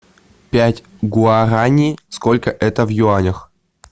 пять гуарани сколько это в юанях